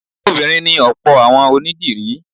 Obìnrin ni ọ̀pọ̀ àwọn onídìrí